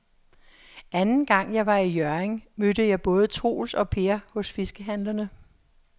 Anden gang jeg var i Hjørring, mødte jeg både Troels og Per hos fiskehandlerne.